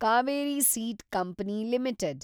Kaveri seed company limited